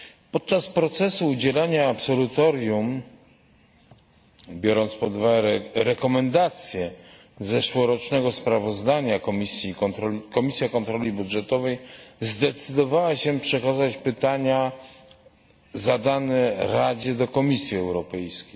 Podczas procesu udzielania absolutorium, biorąc pod uwagę rekomendacje z zeszłorocznego sprawozdania, Komisja Kontroli Budżetowej zdecydowała się przekazać pytania zadane Radzie do Komisji Europejskiej.